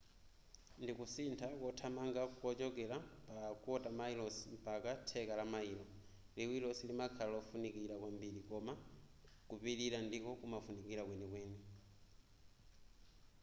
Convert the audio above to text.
ndikusintha kothamanga kuchokera pa kota mayilosi mpaka theka la mayilo liwiro silimakhala lofunikira kwambiri koma kupilira ndiko kumafunika kwenikweni